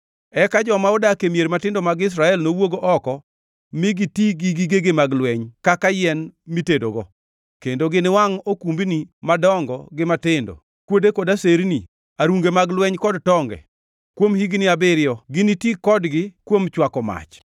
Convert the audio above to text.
“ ‘Eka joma odak e mier matindo mag Israel nowuog oko mi giti gi gigegi mag lweny kaka yien mitedogo, kendo giniwangʼ okumbni madongo gi matindo, kuode kod aserni, arunge mag lweny kod tonge. Kuom higni abiriyo giniti kodgi kuom chwako mach.